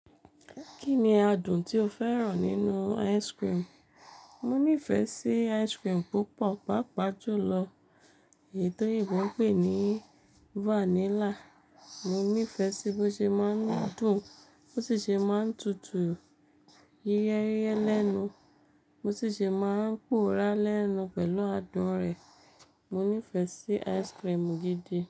Kí ni adùn tí o fẹ́ràn nínú ice cream? Mo nífẹ̀ẹ́ sí ice cream púpọ̀, pàápàá jùlọ èyí tó yínbó pè ní vanilla. Mo nífẹ̀ẹ́ sí bó ṣe máa ń dùn, bó ṣi ṣe máa ń tutù yíyẹ́yíyẹ́ lẹ́nu, bo sì ṣe máa ń pora lẹ́nu pẹ̀lú adùn rẹ̀. Mo nífẹ̀ẹ́ sí ice cream gidi.